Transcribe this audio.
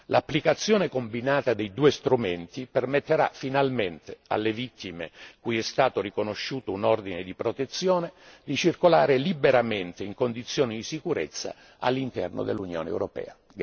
L'applicazione combinata dei due strumenti permetterà finalmente alle vittime, cui è stato riconosciuto un ordine di protezione, di circolare liberamente in condizioni di sicurezza all'interno dell'Unione europea.